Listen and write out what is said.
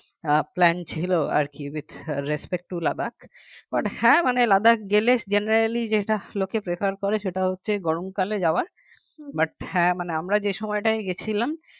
আহ plan ছিল আর কি with respect to Ladakh হ্যাঁ মানে Ladakh গেলে general যেটা লোকে prefer করে সেটা হচ্ছে গরমকালে যাওয়া but হ্যাঁ মানে আমরা যে সময় গিয়েছিলাম